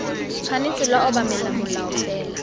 tshwanetse lwa obamela molao fela